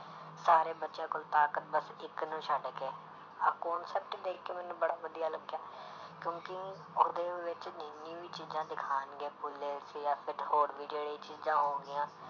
ਸਾਰੇ ਬੱਚਿਆਂ ਕੋਲ ਤਾਕਤ ਬਸ ਇੱਕ ਨੂੰ ਛੱਡ ਕੇ, ਆਹ concept ਦੇਖਕੇ ਮੈਨੂੰ ਬੜਾ ਵਧੀਆ ਲੱਗਿਆ ਕਿਉਂਕਿ ਉਹਦੇ ਵਿੱਚ ਜਿੰਨੀ ਵੀ ਚੀਜ਼ਾਂ ਦਿਖਾਉਣਗੇ ਜਾਂ ਫਿਰ ਹੋਰ ਵੀ ਜਿਹੜੇ ਚੀਜ਼ਾਂ ਹੋਣਗੀਆਂ।